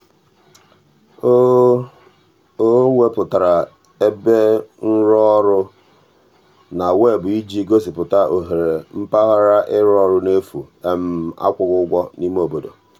o o wepụtara ebe nrụọrụ na weebụ iji gosipụta ohere mpaghara ịrụ ọrụ n'efu akwụghị ụgwọ n'ime obodo.